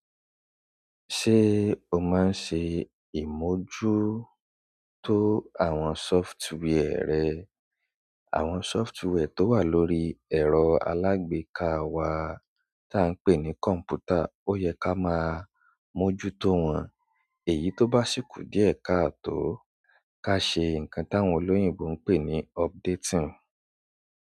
Ṣé o máa ń ṣe ìmojuto àwọn sọfitwià rẹ? Àwọn sọfitwià tó wà lórí ẹ̀rọ alágbeka wa tí à ń pè ní kọ̀ǹpútà ó yẹ ká máa mójútó wọn. Èyí tó bá ṣíkù díẹ̀ ká tó ká ṣe nǹkan tí àwọn olóyìnbo ń pè ní updating.